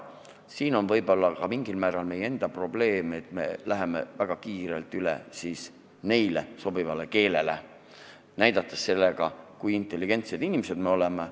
See on võib-olla ka mingil määral meie enda probleem, sest me läheme väga kiirelt üle neile sobivale keelele, püüdes sellega näidata, kui intelligentsed inimesed me oleme.